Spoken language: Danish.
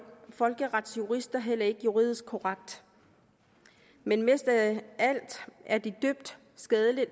folkeretsjurister heller ikke juridisk korrekt men mest af alt er det dybt skadeligt